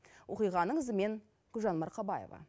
оқиғаның ізімен гүлжан марқабаева